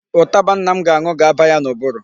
Ụtaba nna m ga-aṅụ ga-aba ya n'ụbụrụ.